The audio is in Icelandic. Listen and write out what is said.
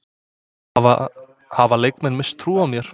Hafa leikmenn misst trú á mér?